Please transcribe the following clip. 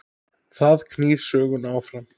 Það knýr söguna áfram